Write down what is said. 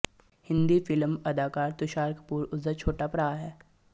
Hindi film ਅਦਾਕਾਰ ਤੁਸ਼ਾਰ ਕਪੂਰ ਉਸਦਾ ਛੋਟਾ ਭਰਾ ਹੈ